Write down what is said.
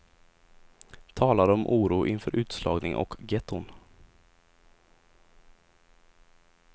Talar om oro inför utslagning och getton.